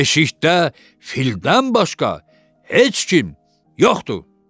Deşikdə fildən başqa heç kim yoxdur.